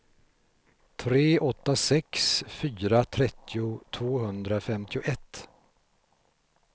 tre åtta sex fyra trettio tvåhundrafemtioett